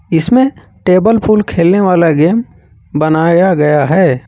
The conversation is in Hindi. इसमें टेबल फुल खेलने वाला गेम बनाया गया है।